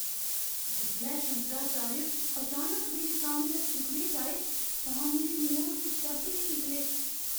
जिसलै शंकराचार्य अचानक मेरे सामनै सुखने च आए तां मेरे मुहां कोई शब्द नेईं निकले।